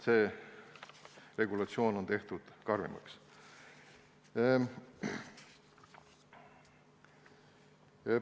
See regulatsioon on tehtud karmimaks.